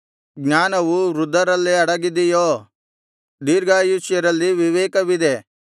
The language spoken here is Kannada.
ಜ್ಞಾನವು ವೃದ್ಧರಲ್ಲೇ ಅಡಗಿದೆಯೋ ದಿರ್ಘಾಷ್ಯರಲ್ಲಿ ವಿವೇಕವಿದೆ